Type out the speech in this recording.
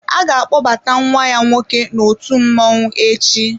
A ga-akpọbata ​​nwa ya nwoke n'òtù mmọnwụ echi.